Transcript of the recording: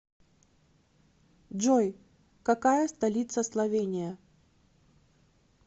джой какая столица словения